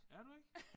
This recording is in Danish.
Er du ikke?